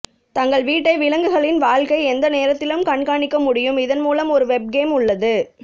தங்கள் வீட்டை விலங்குகளின் வாழ்க்கை எந்த நேரத்திலும் கண்காணிக்க முடியும் இதன் மூலம் ஒரு வெப்கேம் உள்ளது